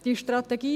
Die Strategie